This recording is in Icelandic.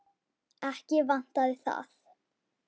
Ekki vantaði það.